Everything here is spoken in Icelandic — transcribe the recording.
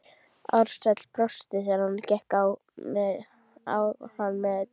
Ársæll brosti þegar hann gekk á hann með þetta.